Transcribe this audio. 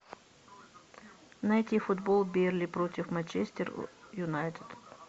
найти футбол бернли против манчестер юнайтед